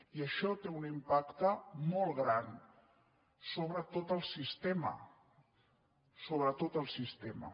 i això té un impacte molt gran sobre tot el sistema sobre tot el sistema